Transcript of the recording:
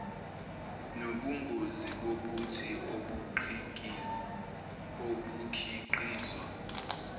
nobungozi bobuthi obukhiqizwa